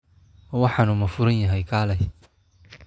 Ma waxanu ma furan yahay kaalay?